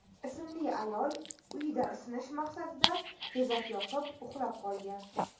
ismli ayol uyida isinish maqsadida tezak yoqib, uxlab qolgan.